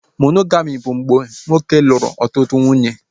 Monogami bụ mgbe nwoke lụrụ otu nwunye